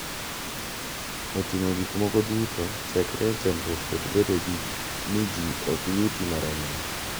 Oting’o gik moko duto chakre e chandruok kod bedo ni ji ok yuti maromre